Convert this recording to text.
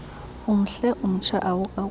umhle umtsha awukagugi